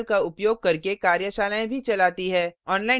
spoken tutorials का उपयोग करके कार्यशालाएँ भी चलाती है